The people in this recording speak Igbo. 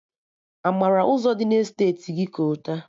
A mara Ụzọ dị na Esteti gị kolta?